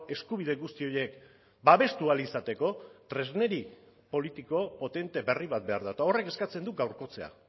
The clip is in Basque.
eskubide guzti horiek babestu ahal izateko tresneri politiko potente berri bat behar da eta horrek eskatzen du gaurkotzea